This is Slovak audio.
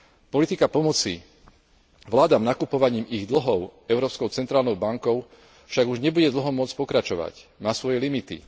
Politika pomoci vládam nakupovaním ich dlhov Európskou centrálnou bankou však už nebude dlho môcť pokračovať, má svoje limity.